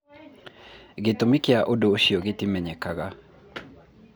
Gĩtũmi kĩa ũndũ ũcio gĩtimenyekaga.